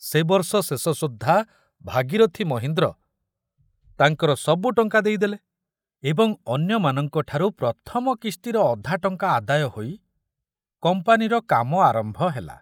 ସେ ବର୍ଷ ଶେଷ ସୁଦ୍ଧା ଭାଗୀରଥ୍ ମହୀନ୍ଦ୍ର ତାଙ୍କର ସବୁ ଟଙ୍କା ଦେଇଦେଲେ ଏବଂ ଅନ୍ୟମାନଙ୍କଠାରୁ ପ୍ରଥମ କିସ୍ତିର ଅଧା ଟଙ୍କା ଆଦାୟ ହୋଇ କମ୍ପାନୀର କାମ ଆରମ୍ଭ ହେଲା।